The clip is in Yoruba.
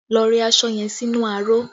Lọ rẹ aṣọ yẹn sínú aró!